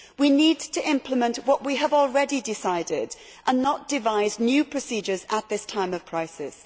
We need to implement what we have already decided and not devise new procedures at this time of crisis.